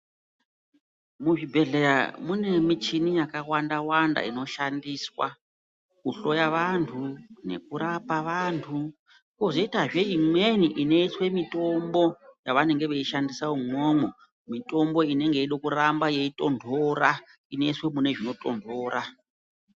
Muzvibhehlera mune michini yakawanda wanda inoshandiswa kuhloya vantu nekurapa vantu kwozoitazve imweni inoiswe mitombo yavanenge veishandisa umwomwo. Mitombo inenge yeide kuramba yeitontora inoiswe mune zvinotontora.